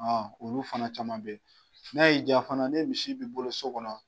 olu fana caman bɛ ye n'a y'i jaa fana ne misi b'i bolo so kɔnɔ